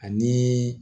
Ani